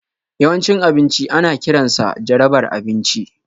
Yawan cin abinci ana kiransa jarabar abinci